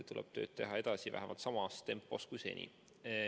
Tuleb teha tööd edasi vähemalt samas tempos kui seni.